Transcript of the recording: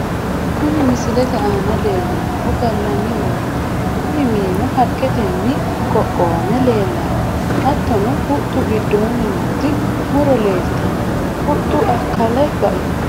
kuni misilete aana leellannohu gallanni mineeti, kuni minino haqqetenni qoqowame leellanno, hattono huxxu giddoonni nooti muro leeltanno , huxxu akkale bainoho.